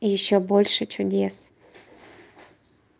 ещё больше чудес